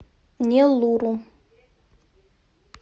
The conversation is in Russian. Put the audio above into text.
неллуру